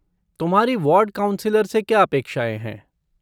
तुम्हारी ward councillor से क्या अपेक्षाएँ हैं?